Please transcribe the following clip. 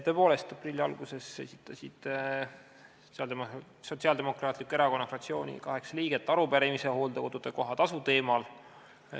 Tõepoolest, aprilli alguses esitasid Sotsiaaldemokraatliku Erakonna fraktsiooni kaheksa liiget arupärimise hooldekodude kohatasu teemal.